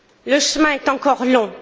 Le chemin est encore long.